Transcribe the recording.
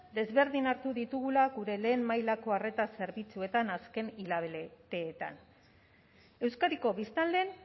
desberdin hartu ditugula gure lehen mailako arreta zerbitzuetan azken hilabeteetan euskadiko biztanleen